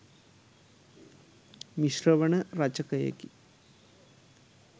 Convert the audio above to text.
මිශ්‍රවන රචකයෙකි.